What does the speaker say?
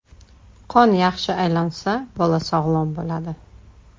Qon yaxshi aylansa, bola sog‘lom bo‘ladi.